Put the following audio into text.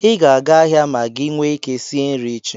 I ga-aga ahịa ma gị nwe ike sie nri echi.